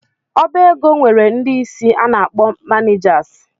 Ọbaego nwere ndị isi a na-akpọ ‘manijasi’